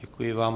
Děkuji vám.